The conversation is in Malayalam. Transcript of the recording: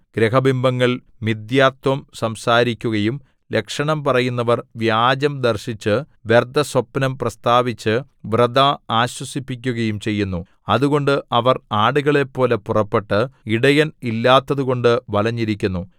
ഗൃഹബിംബങ്ങൾ മിഥ്യാത്വം സംസാരിക്കുകയും ലക്ഷണം പറയുന്നവർ വ്യാജം ദർശിച്ചു വ്യർത്ഥസ്വപ്നം പ്രസ്താവിച്ച് വൃഥാ ആശ്വസിപ്പിക്കുകയും ചെയ്യുന്നു അതുകൊണ്ട് അവർ ആടുകളെപ്പോലെ പുറപ്പെട്ട് ഇടയൻ ഇല്ലാത്തതുകൊണ്ട് വലഞ്ഞിരിക്കുന്നു